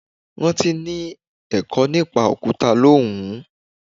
Rántí ni ẹ̀kọ́ nípa Òkúta ló wùú.